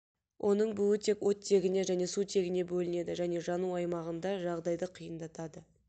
оның буы тек оттегіне және сутегіне бөлінеді және жану аймағында жағдайды қиындатады